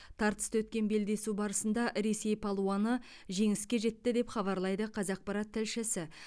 тартысты өткен белдесу барысында ресей палуаны жеңіске жетті деп хабарлайды қазақпарат тілшісі